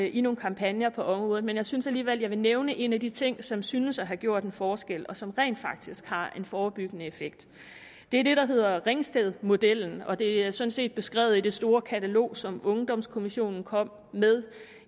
i nogle kampagner på området men jeg synes alligevel at jeg vil nævne en af de ting som synes at have gjort en forskel og som rent faktisk har en forebyggende effekt det er det der hedder ringstedmodellen og den er sådan set beskrevet i det store katalog som ungdomskommissionen kom med